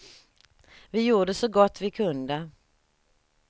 Vi gjorde så gott vi kunde.